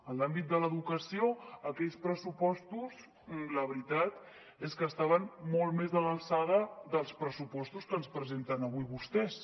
en l’àmbit de l’educació aquells pressupostos la veritat és que estaven molt més a l’alçada que els pressupostos que ens presenten avui vostès